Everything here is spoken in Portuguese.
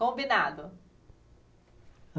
Combinado.